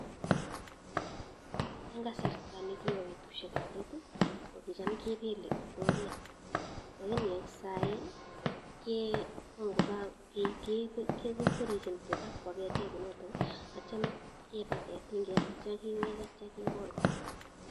En kasarta nekibo betushekab leet ii kokicham kebele roreet, ko en saii kekwerishen tukaa kibakwaketen kounoton akityo kibaten ting'et akityo kewech akityo kekol kora.